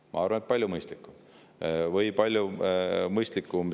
Ma arvan, et see on palju mõistlikum.